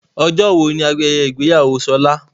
Ọjọ́ wo ni ayẹyẹ ìgbéyàwó Ṣọlá?